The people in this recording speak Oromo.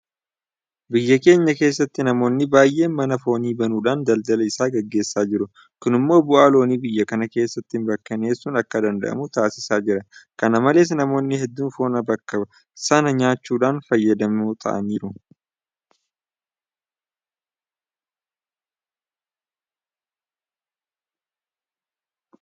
Biyya keenya keessatti namoonni baay'een mana foonii banuudhaan daldala isaa gaggeessaa jiru. Kun immoo bu'aa loonii biyya kana keessatti mirkaneessuun akk adanda'amu taasisaa jira. Kana malees namoonni hedduun foon kana bakka sanaa nyaachuudhaan fayyadamoo ta'aa jiru.